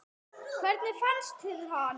Hvernig fannst þér hann?